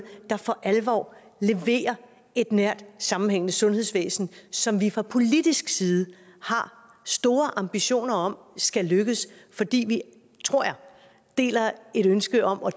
der for alvor leverer et nært sammenhængende sundhedsvæsen som vi fra politisk side har store ambitioner om skal lykkes fordi vi tror jeg deler et ønske og